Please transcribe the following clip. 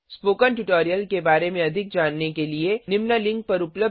spoken tutorial के बारे में अधिक जानने के लिए निम्न लिंक पर उपलब्ध विडियो देखें